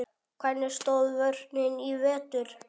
Hvernig stóð vörnin í vetur?